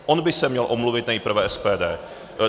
On by se měl omluvit nejprve SPD.